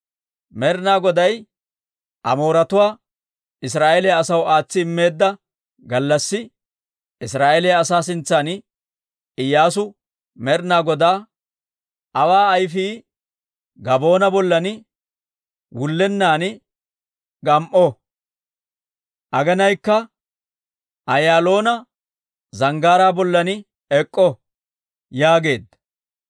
Med'ina Goday Amooretuwaa, Israa'eeliyaa asaw aatsi immeedda gallassi, Israa'eeliyaa asaa sintsan Iyyaasu Med'ina Godaa, «Awa ayfii Gabaa'oona bollan, wullennan gam"o. Aginaykka Ayaaloona Zanggaaraa bollan ek'k'o» yaageedda.